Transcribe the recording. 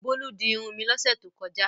Bólú di irun mi lọ́sẹ̀ tó kọjá.